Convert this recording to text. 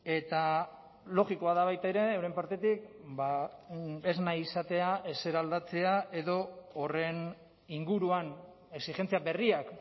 eta logikoa da baita ere euren partetik ba ez nahi izatea ezer aldatzea edo horren inguruan exijentzia berriak